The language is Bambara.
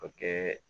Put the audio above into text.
O kɛ